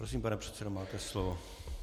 Prosím, pane předsedo, máte slovo.